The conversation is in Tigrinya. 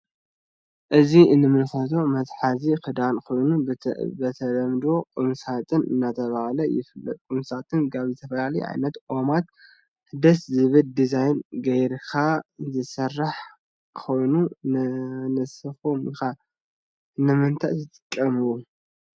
እዚ እንምልከቶ መትሐዚ ክዳን ኮይኑ ብተለምዶ ቁምሳጥን እናተባህለ ይፍለጥ። ቁምሳጥን ካብ ዝተፈላለዩ ዓይነት ኦማት ደስ ዝብል ዲዛይን ገይርካ ዝስራሕ ኮይኑ ንስኩም ከ ንምንታይ ትጥቀሙሉ?